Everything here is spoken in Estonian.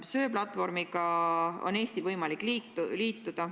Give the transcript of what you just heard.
Söeplatvormiga on Eestil võimalik liituda.